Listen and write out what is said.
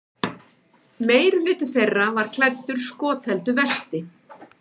Meirihluti þeirra var klæddur skotheldu vesti